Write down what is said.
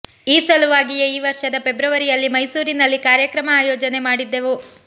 ಈ ಸಲುವಾಗಿಯೇ ಈ ವರ್ಷದ ಫೆಬ್ರವರಿಯಲ್ಲಿ ಮೈಸೂರಿನಲ್ಲಿ ಕಾರ್ಯಕ್ರಮ ಅಯೋಜನೆ ಮಾಡಿದ್ದೆವು